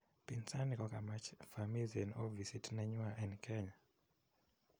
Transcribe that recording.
Pinzani kokamach vamizi en ofisit nenywa en Kenya